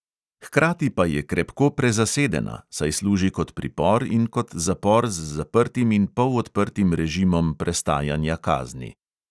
Hkrati pa je krepko prezasedena, saj služi kot pripor in kot zapor z zaprtim in polodprtim režimom prestajanja kazni.